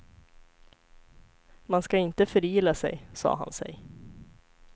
Man ska inte förila sig, sa han sig.